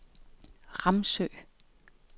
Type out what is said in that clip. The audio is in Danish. Ramsø